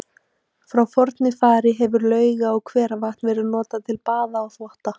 Frá fornu fari hefur lauga- og hveravatn verið notað til baða og þvotta.